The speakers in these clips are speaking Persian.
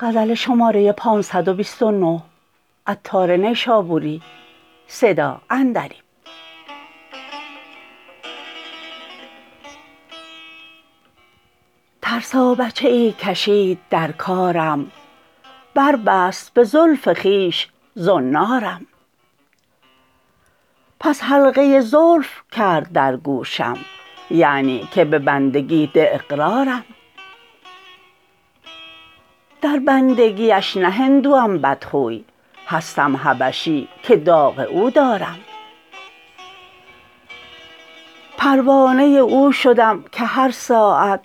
ترسا بچه ای کشید در کارم بربست به زلف خویش زنارم پس حلقه زلف کرد در گوشم یعنی که به بندگی ده اقرارم در بندگیش نه هندوم بدخوی هستم حبشی که داغ او دارم پروانه او شدم که هر ساعت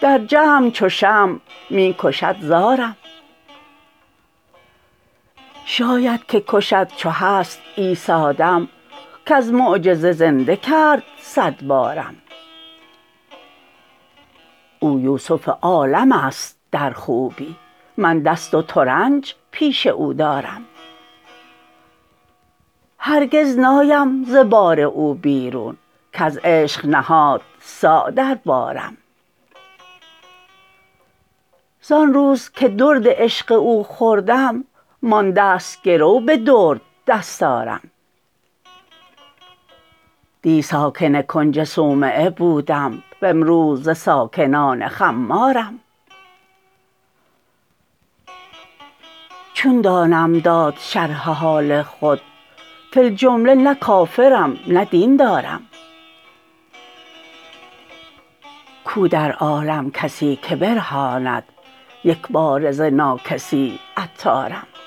در جمع چو شمع می کشد زارم شاید که کشد چو هست عیسی دم کز معجزه زنده کرد صد بارم او یوسف عالم است در خوبی من دست و ترنج پیش او دارم هرگز نایم ز بار او بیرون کز عشق نهاد صاع در بارم زان روز که درد عشق او خوردم مانده است گرو به درد دستارم دی ساکن کنج صومعه بودم وامروز ز ساکنان خمارم چون دانم داد شرح حال خود فی الجمله نه کافرم نه دین دارم کو در عالم کسی که برهاند یکباره ز ناکسی عطارم